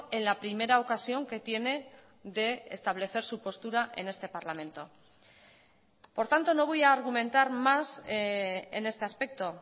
en la primera ocasión que tiene de establecer su postura en este parlamento por tanto no voy a argumentar más en este aspecto